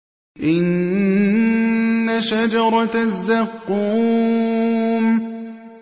إِنَّ شَجَرَتَ الزَّقُّومِ